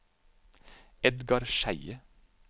Edgar Skeie